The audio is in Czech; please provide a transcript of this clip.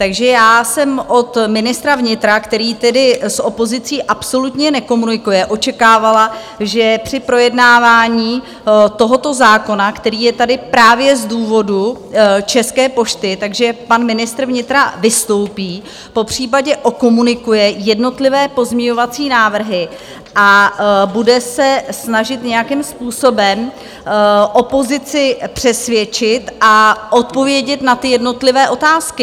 Takže já jsem od ministra vnitra, který tedy s opozicí absolutně nekomunikuje, očekávala, že při projednávání tohoto zákona, který je tady právě z důvodu České pošty, tak že pan ministr vnitra vystoupí, popřípadě okomunikuje jednotlivé pozměňovací návrhy a bude se snažit nějakým způsobem opozici přesvědčit a odpovědět na ty jednotlivé otázky.